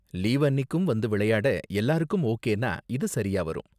Leave அன்னிக்கும் வந்து விளையாட எல்லாருக்கும் ஓகேனா இது சரியா வரும்.